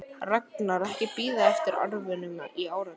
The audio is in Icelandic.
Ragnar ekki bíða eftir arfinum í áratugi.